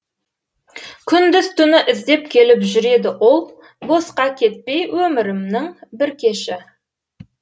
күндіз түні іздеп келіп жүреді ол босқа кетпей өмірімнің бір кеші